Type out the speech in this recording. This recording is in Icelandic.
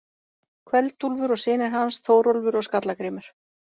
Kveld-Úlfur og synir hans, Þórólfur og Skalla-Grímur.